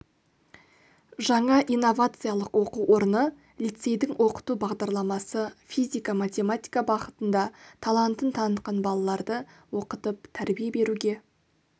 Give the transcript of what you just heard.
жаңа инновациялық оқу орны лицейдің оқыту бағдарламасы физика-математика бағытында талантын танытқан балаларды оқытып тәрбие беруге